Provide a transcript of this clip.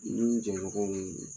N ni n jɛɲɔgɔnw